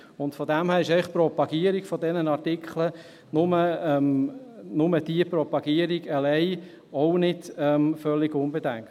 Und von daher ist die Propagierung dieser Artikel, nur die Propagierung alleine, auch nicht völlig unbedenklich.